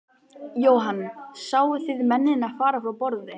Jóhann: Sáu þið mennina fara frá borði?